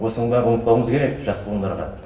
осының бәрін ұмытпауымыз керек жас буындарға